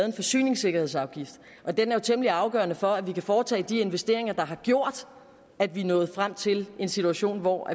en forsyningssikkerhedsafgift og den er jo temmelig afgørende for at vi har foretage de investeringer der har gjort at vi er nået frem til en situation hvor